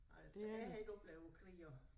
Altså jeg har ikke oplevet krig og